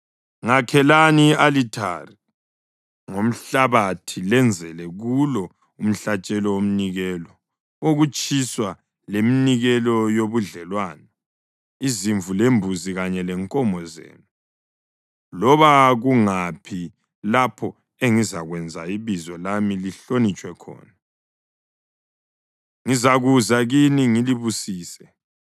Ngakhelani i-alithari ngomhlabathi lenzele kulo umhlatshelo womnikelo wokutshiswa, leminikelo yobudlelwano, izimvu lembuzi kanye lenkomo zenu. Loba kungaphi lapho engizakwenza ibizo lami lihlonitshwe khona, ngizakuza kini ngilibusise.